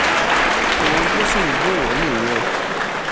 ohun tó sì ń dùn wọ́n nìyẹn